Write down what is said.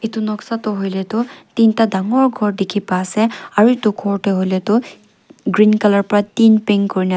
Etu noksa toh hoile toh tinta dangor ghor dekhi pa ase aro etu ghor tu hoile toh green colour pa tin paint kurina--